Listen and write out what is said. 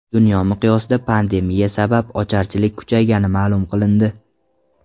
Dunyo miqyosida pandemiya sabab ocharchilik kuchaygani ma’lum qilindi.